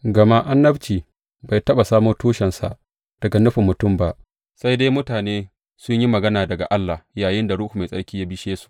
Gama annabci bai taɓa samo tushensa daga nufin mutum ba, sai dai mutane sun yi magana daga Allah yayinda Ruhu Mai Tsarki ya bishe su.